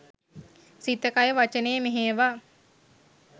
සිත කය වචනය මෙහෙයවා